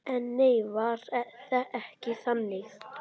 En nei, var ekki þannig.